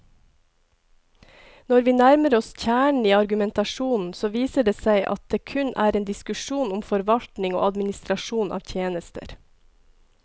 Når vi nærmer oss kjernen i argumentasjonen, så viser det seg at det kun er en diskusjon om forvaltning og administrasjon av tjenester.